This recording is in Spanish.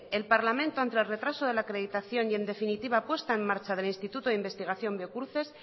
el parlamento ante el retraso de la acreditación y en definitiva puesta en marcha del instituto de investigación biocruces